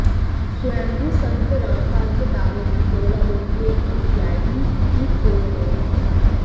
स्वयंभू संत रामपाल के दावे की पोल अब उनके अनुयायी ही खोल रहे हैं